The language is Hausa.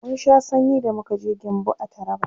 mun Sha sanyi da muka je gembu a taraba